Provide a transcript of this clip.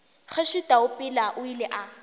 kgoši taupela o ile a